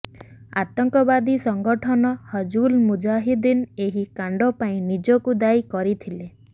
ଆତଙ୍କବାଦୀ ସଂଗଠନ ହିଜ୍ବୁଲ୍ ମୁଜାହିଦ୍ଦିନ୍ ଏହି କାଣ୍ଡ ପାଇଁ ନିଜକୁ ଦାୟୀ କରିଥିଲା